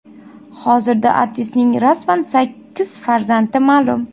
Hozirda artistning rasman sakkiz farzandi ma’lum.